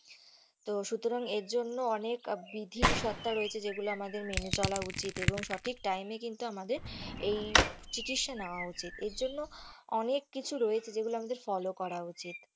তো এর জন্য অনেক বিধিশর্তা রয়েছে যেগুলো আমাদের মেনে চলে উচিৎ এবং সঠিক time এ কিন্তু আমাদের এই চিকিৎসা নেওয়া উচিৎ এর জন্য অনেক কিছু রয়েছে যেগুলো আমাদের follow করা উচিত।